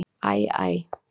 Æ Æ!